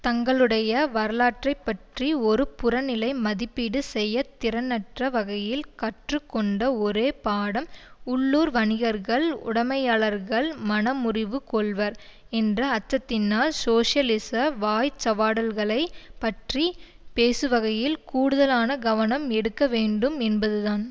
தங்களுடைய வரலாற்றை பற்றி ஒரு புறநிலை மதிப்பீடு செய்ய திறனற்ற வகையில் கற்று கொண்ட ஒரே பாடம் உள்ளூர் வணிகர்கள் உடைமையாளர்கள் மனமுறிவு கொள்வர் என்ற அச்சத்தினால் சோசியலிச வாய்ச்சவடால்களை பற்றி பேசுகையில் கூடுதலான கவனம் எடுக்க வேண்டும் என்பதுதான்